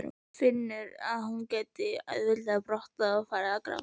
Finnur að hún gæti auðveldlega brotnað og farið að gráta.